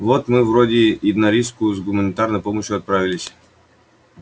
вот мы вроде на рижскую с гуманитарной помощью отправились